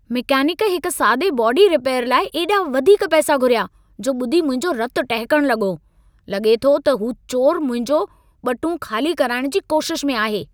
Mechanic हिक सादे body repair लाइ एॾा वधीक पैसा घुरिया, जो ॿुधी मुंहिंजो रतु टहिकण लॻो। लॻे थो त हू चोर मुंहिंजो ॿटूं ख़ाली कराइण जी कोशिश में आहे।